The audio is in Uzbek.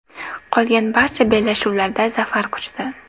Qolgan barcha bellashuvlarda zafar quchdi.